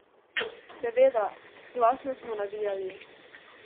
Seveda, glasno smo navijali!